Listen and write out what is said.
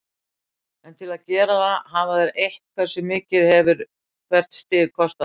En til að gera það hafa þeir eytt, hversu mikið hefur hvert stig kostað þá?